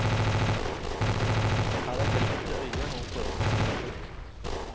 Her er glimt i øyet og poetiske øyeblikk.